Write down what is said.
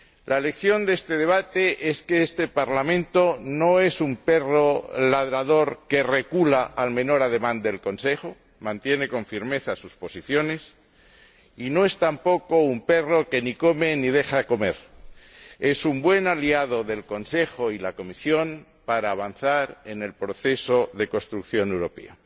La lección que se extrae de este debate es que este Parlamento no es un perro ladrador que recula al menor ademán del Consejo mantiene con firmeza sus posiciones. Y no es tampoco un perro que ni come ni deja comer es un buen aliado del Consejo y de la Comisión para avanzar en el proceso de construcción europea.